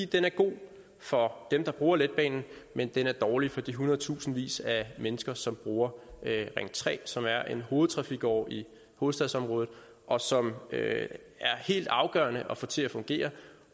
den er god for dem der bruger letbanen men den er dårlig for de hundredtusindvis af mennesker som bruger ring tre som er en hovedtrafikåre i hovedstadsområdet og som det er helt afgørende at få til at fungere